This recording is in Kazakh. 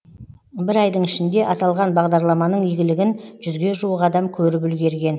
бір айдың ішінде аталған бағдарламаның игілігін жүзге жуық адам көріп үлгерген